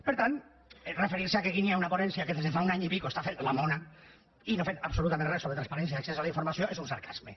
per tant referir se que aquí hi ha una ponència que des de fa un any i escaig està fent la mona i no ha fet absolutament res sobre transparència i accés a la informació és un sarcasme